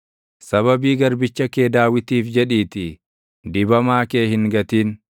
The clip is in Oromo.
Sababii garbicha kee Daawitiif jedhiitii, dibamaa kee hin gatin.